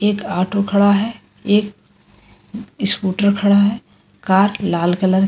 एक ऑटो खड़ा है एक स्कूटर खड़ा है कार लाल कलर --